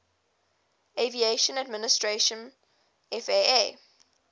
aviation administration faa